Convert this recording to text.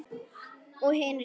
Og hinir sögðu